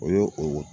O y'o o